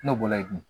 N'o bɔlayi